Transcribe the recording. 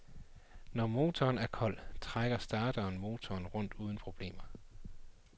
Når motoren er kold, trækker starteren motoren rundt uden problemer.